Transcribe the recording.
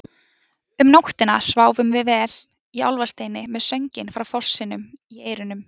Um nóttina sváfum við vel í Álfasteini með sönginn frá fossinum í eyrunum.